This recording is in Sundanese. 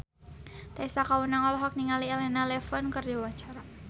Tessa Kaunang olohok ningali Elena Levon keur diwawancara